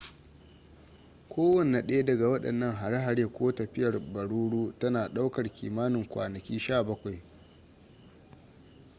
kowane ɗaya daga waɗannan har-hare ko tafiyar baroro tana ɗaukar kimanin kwanaki 17